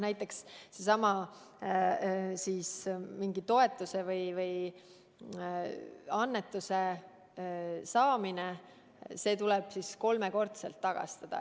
Näiteks, kui on seesama mingi toetuse või annetuse saamine, siis see tuleb kolmekordselt tagastada.